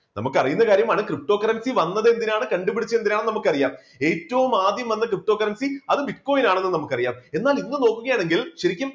നമുക്കറിയുന്ന കാര്യമാണ് ptocurrency വന്നത് എന്തിനാണ്? കണ്ടുപിടിച്ചത് എന്തിനാണെന്ന് നമുക്കറിയാം. ഏറ്റവും ആദ്യം വന്ന ptocurrency അത് bitcoin ആണെന്നും നമുക്കറിയാം എന്നാൽ, ഇന്ന് നോക്കുകയാണെങ്കിൽ ശരിക്കും